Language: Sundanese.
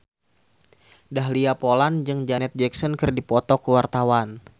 Dahlia Poland jeung Janet Jackson keur dipoto ku wartawan